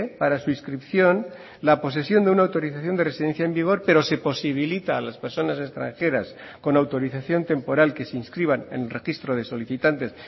para su inscripción la posesión de una autorización de residencia en vigor pero se posibilita a las personas extranjeras con autorización temporal que se inscriban en el registro de solicitantes